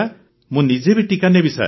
ମୁଁ ନିଜେ ବି ଟିକା ନେବି ସାର୍